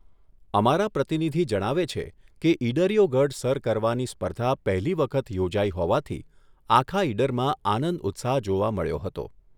અમારા પ્રતિનિધિ જણાવે છે કે ઇડરિયો ગઢ સર કરવાની સ્પર્ધા પહેલી વખત યોજાઈ હોવાથી આખા ઇડરમાં આનંદ ઉત્સાહ જોવા મળ્યો હતો.